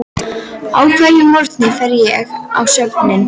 Á hverjum morgni fer ég á söfnin.